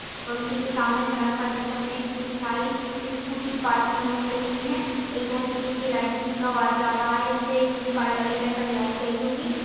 और उसी के सामने सड़क पर देख सकते कितनी सारी स्कूटी पार्किंग की हुई खड़ी हुई है और इधर से देखिए लाइटिंग का वायर जा रहा है इससे इस कार्यालय के अंदर लाइट गई होगी।